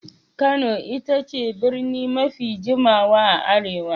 Kano ita ce birni mafi jimawa a Arewa.